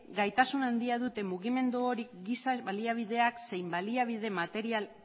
gaitasun handia dute mugimendu horiek giza baliabideak zein baliabide material